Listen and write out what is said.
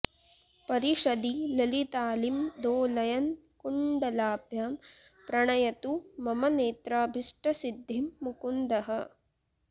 परिषदि ललितालीं दोलयन् कुण्डलाभ्यां प्रणयतु मम नेत्राभीष्टसिद्धिं मुकुन्दः